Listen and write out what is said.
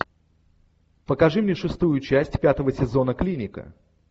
покажи мне шестую часть пятого сезона клиника